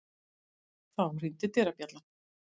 Þá hringdi dyrabjallan.